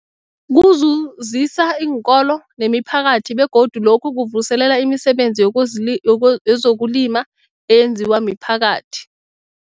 Kuzuzisa iinkolo nemiphakathi begodu lokhu kuvuselela imisebenzi yekozli yeko yezokulima eyenziwa miphakathi.